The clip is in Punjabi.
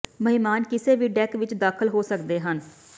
ਮਹਿਮਾਨ ਕਿਸੇ ਵੀ ਡੈੱਕ ਵਿਚ ਦਾਖਲ ਹੋ ਸਕਦੇ ਹਨ